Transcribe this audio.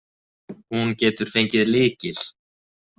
Hún getur fengið lykil.